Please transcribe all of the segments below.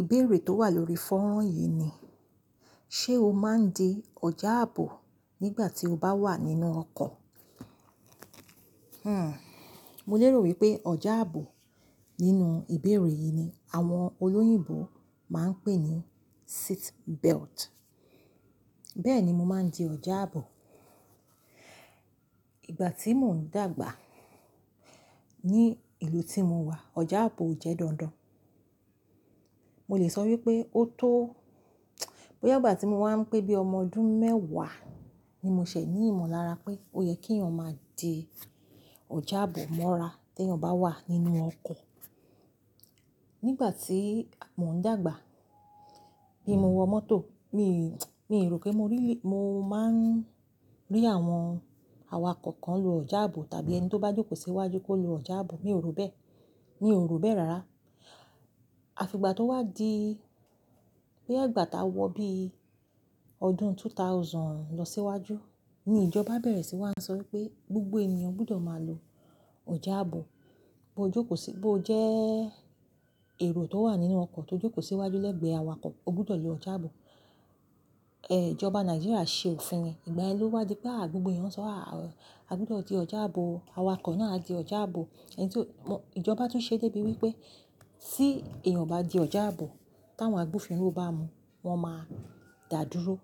Ìbéèrè tó wà lórí fọ́nrán yìí ni, ṣe o máa ń di ọjà àbò nígbà tí o bá wà nínú ọkọ̀? Hhn, mo lérò wípé ọjà àbò nínú ìbéèrè yìí ni àwọn olóyìnbo máa ń pè ní seat belt. Bẹ́ẹ̀ni, mo máa ń di ọjà àbò. Ìgbà tí mò ń dàgbà ní ìlú tí mo wà, ọjà àbò ò jẹ́ dandan. Mo lè sọ wípé ó tó bóyá ìgbà tí mo wá ń pé bíi ọmọ ọdún mẹ́wàá ni mo ṣẹ̀ ní ìmọ̀lára pé ó yẹ kí èèyàn máa di ọjà àbò mọ́ra tí èèyàn bá wà nínú ọkọ̀. Nígbà tí mò ń dàgbà bí mo wọ mọ́tò, mi mi rò pé mo rí, mo máa ń rí àwọn awakọ̀ kan lo ọjà àbò tàbí ẹni tó bá jókòó síwájú kó lo ọjà àbò. Mi ò ro bẹ́ẹ̀, mi ò ro bẹ́ẹ̀ rara. Àfi ìgbà tó wá di, bóyá gbà tá wọ bí ọdún 2000 lọ síwájú, ni ìjọba bẹ̀rẹ̀ síi wá ń sọ wípé gbogbo èèyàn gbọdọ̀ máa lo ọjà àbò. Bo jókòó sí, bo o jẹ́ èrò tó wà nínú ọkọ̀ tó jókòó síwájú lẹ́gbẹ̀ẹ́ awakọ̀, o gbọdọ̀ lo ọjà àbò. Ìjọba Nàìjíríà ṣe òfin rẹ̀. Ìgbà yen lo wá di a gbogbo eeyan sọ á, a gbọdọ̀ di ọjà àbò, awakọ̀ náà di ọjà àbò. Ẹni tí ó, ìjọba tún ṣe débi wípé, tí èèyàn o bá di ọjà àbò, táwọn àgbofìnrò bá mu, wọn máa dà dúró.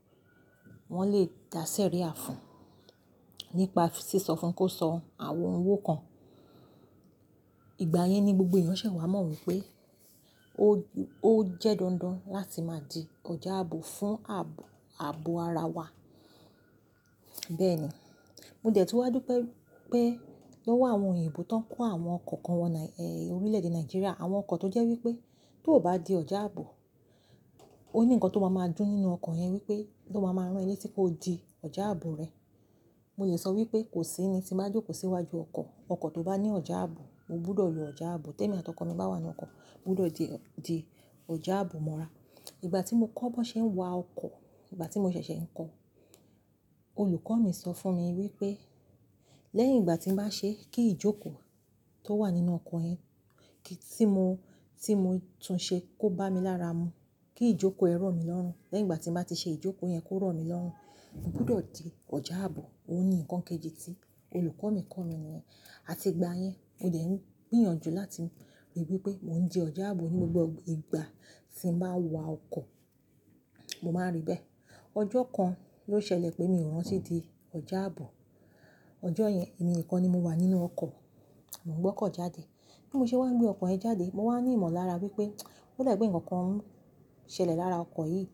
Wọn lè dá sẹ̀ríà fún, nípa sí sọ fún un kó san àwọn owo kan. Ìgbà yẹn ni gbogbo èèyàn ṣẹ̀ wá mọ̀ wípé o, ó jẹ́ dandan láti máa di ọjà àbò fún àb-ààbò ara wa. Bẹ́ẹ̀ni, mo dẹ̀ tún wádúpé, pé ówo àwọn òyìnbó tó kó àwọn ọkọ̀ kan wọ Nai-- orílẹ̀-èdè Nàìjíríà. Àwọn ọkọ̀ tó jẹ́ wípé tó ò bá di ọjà àbò, ó ní ǹkan tó máa máa dún nínú ọkọ̀ yẹn wípé tó máa máa rán ẹ leti pé ó di ọjà àbò rẹ. Mo lè sọ wípé kò sí ẹni tí máa jókòó síwájú ọkọ̀, ọkọ̀ tó bá ní ọjà àbò, o gbọdọ̀ lo ọjà àbò. Tẹ́mi àti ọkọ mi bá wà nínú ọkọ̀, o gbọdọ̀ di, di ọjà àbò mọ́ra. Ìgbà tí mo kọ́ bọ̀n ṣe ń wa ọkọ̀, ìgbà tí mo ṣẹ̀ṣẹ̀ ń kọ́, olùkọ́ mi sọ fún mi wípé, lẹ́yìn ìgbà tí mo bá ṣe kí ìjókòó tó wà nínú ọkọ̀ yẹn, kí, tí mo, tí mo tún ṣe tó bá mi lára mu, ti ìjókòó ẹ rọ̀ mí lọ́rùn. Lẹ́yìn ìgbà tí mo bá ti ṣe ìjókòó yẹn tó rọ̀ mí lọ́rùn, mo gbọdọ̀ di ọjà àbò. Ó ní ǹkan kejì tí olùkọ́ mi kọ́ mi ni. Àti ìgbà yẹn, mo dẹ̀ ń gbìyànjú láti rí wípé mò ń di ọjà àbò ní gbogbo ìgbà tí mo bá wa ọkọ̀, mo máa rí bẹ́ẹ̀. Ọjọ́ kan ló ṣẹlẹ̀ pé mi ò rántí di ọjà àbò. Ọjọ́ yẹn èmi nìkan ni mo wà nínú ọkọ̀, mò gbọ́kọ̀ jáde. Bí mo ṣe wá ń gbé ọkọ̀ yẹn jáde, mo wá ní ìmọ̀lára wípé ó le gbé ǹkan kan ṣẹlẹ̀ lára ọkọ̀ yìí.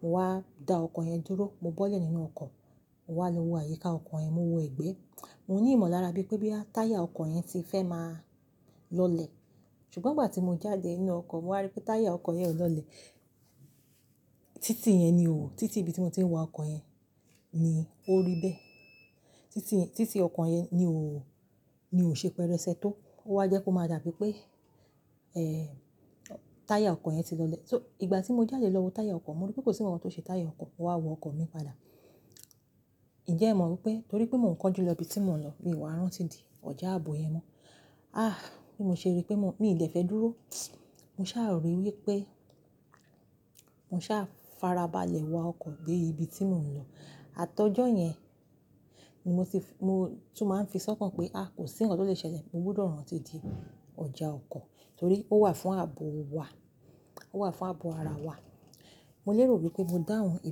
Mo wá da ọkọ̀ yẹn dúró, mo bọ́lẹ̀ nínú ọkọ̀, mo wá lo wo àyíká ọkọ̀ yẹn, mo wo egbé. Mo ní ìmọ̀lára bí pé bí táyà ọkọ̀ yẹn ti fẹ́ máa lọlẹ̀. Ṣùgbọ́n ìgbà tí mo jáde nínú ọkọ̀, mo wá rí pé táyà ọkọ̀ yẹn ò lọlẹ̀. Títì yẹn ni o, títì ibi tí mo ti ń wa ọkọ̀ yẹn ni ó rí bẹ́ẹ̀. Títì, títì ọkọ̀ yẹn ni o, ni ò ṣe pẹlẹsẹ tó. Ó wá jẹ́ kobmáa dàbí pé táyà ọkọ̀ yẹn ti lọlẹ̀. So ìgbà tí mo jáde lọ wo táyà ọkọ̀, mo rí pé kò sí ǹkan tó ṣe táyà ọkọ̀. Mo wá wo ọkọ̀ mi padà. Ǹjẹ́ è mo wípé torí pé mò ń kánjú lọ ibi tí mò ń lọ, mi ò rántí di ọjà àbò yẹn mọ́. Ah! Bí mo ṣe rí pé mo, mi ì dè fẹ́ dúró. Mo sáà rí wípé, mo sáà farabalẹ̀ wa ọkọ̀ dé ibi tí mò ń lọ. Atọ́jọ́ yẹn ni mo ti f-- mo tún máa ń fi sọ́kàn pé a, kò sí ǹkan tó lè ṣẹlẹ̀, mo gbọdọ̀ rántí di ọjà ọkọ̀ torí ó wà fún ààbò wa, ó wà fún àbò ara wa. Mo lérò wípé mo dáhùn ìbò.